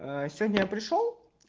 сегодня пришёл